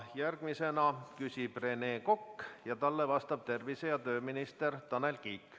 Järgmisena küsib Rene Kokk ja talle vastab tervise- ja tööminister Tanel Kiik.